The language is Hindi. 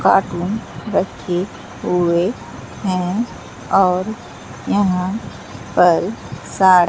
पार्क में रखे हुए हैं और यहां पर सा--